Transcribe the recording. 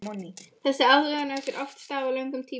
Þessi aðlögun á sér oft stað á löngum tíma.